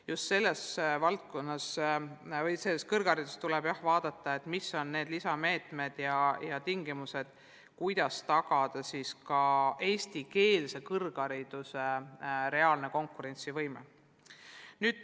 Juttu oli just sellest, et kõrghariduses tuleb vaadata, mis on need lisameetmed ja tingimused, et tagada eestikeelse kõrghariduse reaalne konkurentsivõime.